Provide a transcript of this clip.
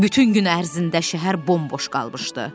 Bütün gün ərzində şəhər bomboş qalmışdı.